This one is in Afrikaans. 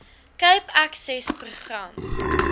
cape access program